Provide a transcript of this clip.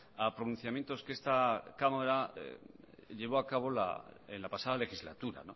a pronunciamientos que esta cámara llevó a cabo en la pasada legislatura